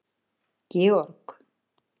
Georg